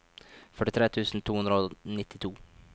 førtitre tusen to hundre og nittito